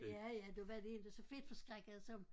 Ja ja der var de inte så fedtforskrækkede som